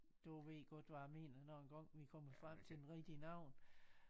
Du ved godt hvad jeg mener når engang vi kommer frem til den rigtige navn